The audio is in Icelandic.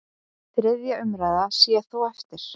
Þriðja umræða sé þó eftir.